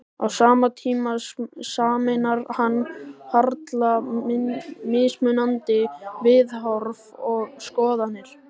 Á sama tíma sameinar hann harla mismunandi viðhorf og skoðanir.